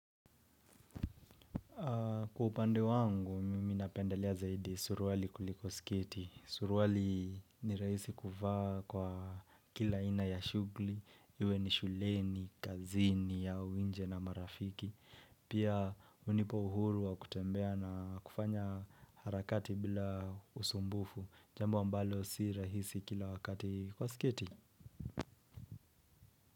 Kwa upande wangu, mimi napendelea zaidi suruwali kuliko skiti. Suruwali ni rahisi kuvaa kwa kila aina ya shughuli, iwe ni shuleni, kazini, au nje na marafiki. Pia hunipa uhuru wa kutembea na kufanya harakati bila usumbufu. Jambo ambalo si rahisi kila wakati kwa sketi.